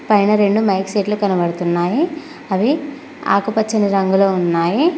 పైన రెండు మైక్ సెట్లు కనబడుతున్నాయి అవి ఆకుపచ్చని రంగులో ఉన్నాయి.